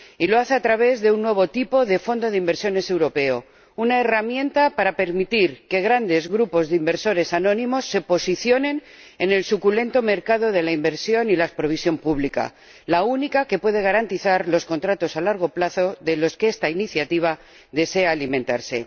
Y lo hace a través de un nuevo tipo de fondos de inversiones europeos, una herramienta para permitir que grandes grupos de inversores anónimos se posicionen en el suculento mercado de la inversión y la provisión pública —la única que puede garantizar los contratos a largo plazo de los que esta iniciativa desea alimentarse—.